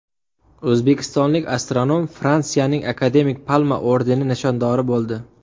O‘zbekistonlik astronom Fransiyaning Akademik Palma ordeni nishondori bo‘ldi.